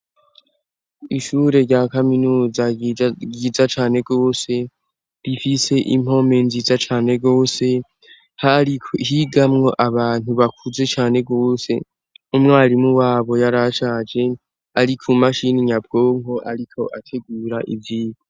Ishure rya kaminuza yiza cane gose rifise impome nziza cane gose hari higamwo abantu bakuze cane rwose umwarimu wabo yarashaje, ariko mumashini nyabwonko, ariko ategura ivyigo.